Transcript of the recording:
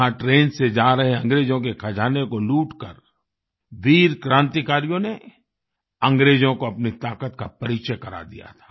यहाँ ट्रेन से जा रहे अंग्रेजों के खजाने को लूटकर वीर क्रांतिकारियों ने अंग्रेजों को अपनी ताक़त का परिचय करा दिया था